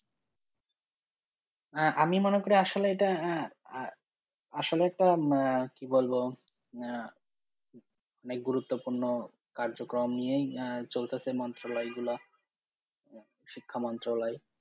আহ আমি মনে করি আসলে এটা আহ আসলে তো আহ কি বলবো আহ অনেক গুরুত্বপূর্ণ কার্যক্রম নিয়েই আহ চলতাছে মন্ত্রণালয়গুলো শিক্ষা মন্ত্রলয়।